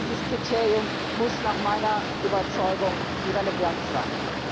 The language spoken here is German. Dieses Kriterium muss nach meiner Überzeugung die Relevanz sein.